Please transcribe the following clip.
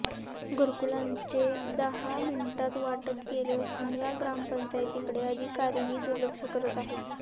घरकुलांचे दहा मिनिटांत वाटप केलं असून या ग्रामपंचायतीकेड अधिकारीही दुर्लक्ष करत आहेत